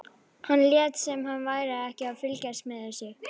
Hann lét sem hann væri ekkert að fylgjast með þessu.